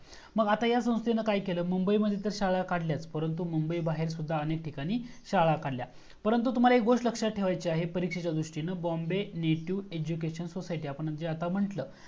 मग आता या संस्थेने काय केले? मुंबई मध्ये तर शाळा काढल्या परंतु मुंबई बाहेर सुद्धा अनेक ठिकाणी शाळा काढल्या. परंतु तुम्हाला एक गोष्ट लक्षात ठेवायची आहे परीक्षेच्या दृष्टीने Bombay native education society आपण जे आता म्हटल.